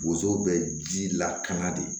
Bozow bɛ ji lakana de